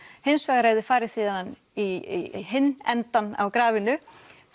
hins vegar ef þið farið síðan í hinn endan á grafinu